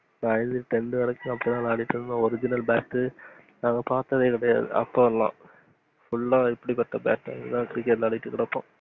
tenth வரைக்கும் அப்டிதான் விளையாடிகிட்டு இருதோம். original bat நாங்க பாத்ததே கெடையாது. full ஆஹ் இப்புடி பட்ட bat லதான் cricket விளையாடிக்கிட்டு இருப்போம்.